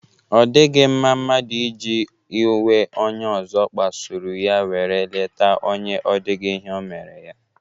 O dighi mma mmadu iji iwe onye ozo kpasuru ya were leta onye o dighi ihe o mere ya.